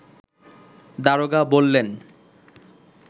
দারোগা বললেন